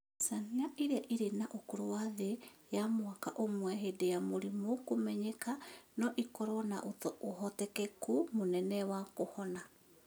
Ciana iria irĩ na ũkũrũ wa thĩ ya mwaka ũmwe hĩndĩ ya mũrimũ kũmenyeka, no ĩkorũo na ũhotekeku mũnene wa kũhona.